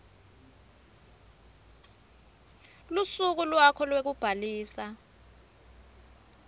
lusuku lwakho lwekubhalisa